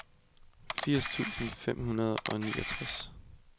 firs tusind fem hundrede og niogtres